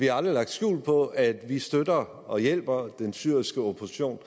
har lagt skjul på at vi støtter og hjælper den syriske opposition